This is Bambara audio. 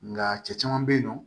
Nga cɛ caman bɛ yen nɔ